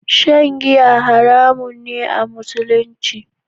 Shan giya haramun ne a Musulumci.